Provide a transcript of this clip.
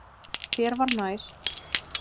Þér var nær.